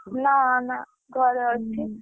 ନା ନା, ଘରେ ଅଛି।